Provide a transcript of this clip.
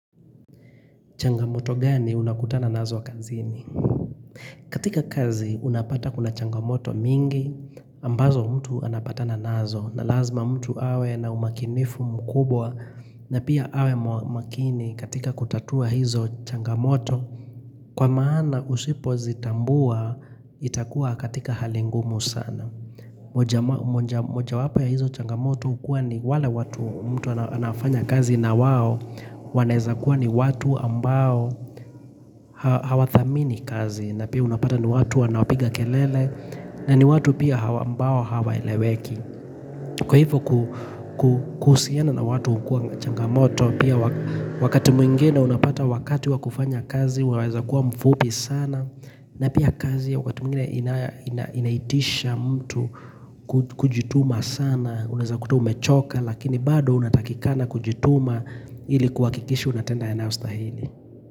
Changamoto gani unakutana nazo kazini? Katika kazi unapata kuna changamoto mingi ambazo mtu anapatana nazo na lazima mtu awe na umakinifu mkubwa na pia awe makini katika kutatua hizo changamoto kwa maana usipo zitambua itakuwa katika halingumu sana. Moja wapo ya hizo changamoto Ukua ni wale watu mtu anafanya kazi na wao Waneza kuwa ni watu ambao Hawa thamini kazi na pia unapata ni watu wanaopiga kelele na ni watu pia hawa ambao hawa eleweki Kwa hivyo kusiana na watu kua na changamoto Pia wakati mwingine unapata wakati wa kufanya kazi Waweza kuwa mfupi sana na pia kazi ya wakati mwingine inaitisha mtu kujituma sana uneza kutu umechoka lakini bado unatakikana kujituma ili kuakikisha unatenda yanayo stahili.